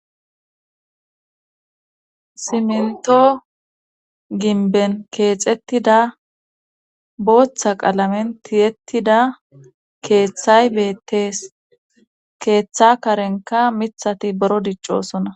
Simento ginben keexettida booththa qalamen tiyettida keeththay betees keeththa karenkka miiththati buro diccosona